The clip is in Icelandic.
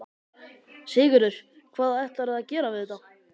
Sigurður: Hvað ætlarðu að gera við þetta?